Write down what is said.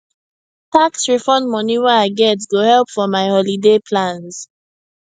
tax refund money wey i get go help for my holiday plans